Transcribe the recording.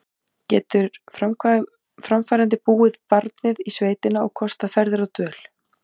Getur framfærandi búið barnið í sveitina og kostað ferðir og dvöl?